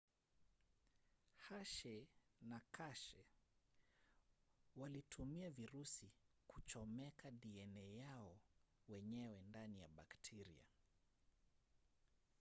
hershey na chase walitumia virusi kuchomeka dna yao wenyewe ndani ya bakteria